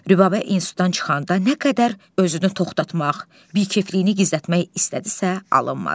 Rübabə institutdan çıxanda nə qədər özünü toxtatmaq, bikefliyini gizlətmək istədisə, alınmadı.